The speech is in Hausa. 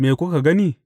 Me kuka gani?